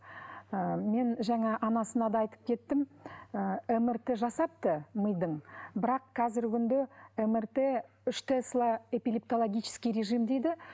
ыыы мен жаңа анасына да айтып кеттім ыыы мрт жасапты мидың бірақ қазіргі күнде мрт үш тесла эпилептологический режим дейді